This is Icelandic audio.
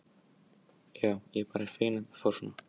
Já, ég er bara feginn að þetta fór svona.